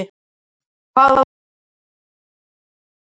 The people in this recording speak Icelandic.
Hvað voru þau líka að gera í stólnum?